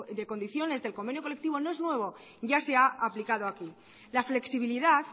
de condiciones del convenio colectivo no es nuevo ya se ha aplicado aquí la flexibilidad